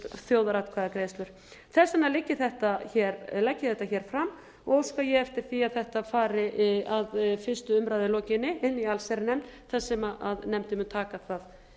þjóðaratkvæðagreiðslur þess vegna legg ég þetta hér fram og óska ég eftir því að þetta fari að fyrstu umræðu lokinni inn í allsherjarnefnd þar sem nefndin mun taka það